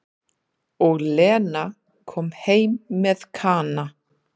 Og Lena kom heim með Kana.